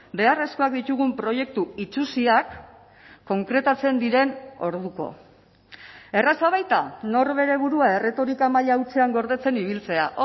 beharrezkoak ditugun proiektu itsusiak konkretatzen diren orduko erraza baita norbere burua erretorika maila hutsean gordetzen ibiltzea